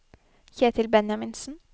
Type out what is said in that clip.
Kjetil Benjaminsen